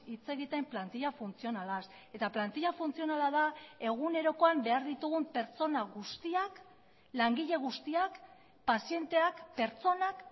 hitz egiten plantila funtzionalaz eta plantila funtzionala da egunerokoan behar ditugun pertsona guztiak langile guztiak pazienteak pertsonak